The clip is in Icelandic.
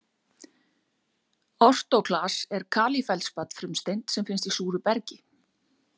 Ortóklas er kalífeldspat frumsteind sem finnst í súru bergi.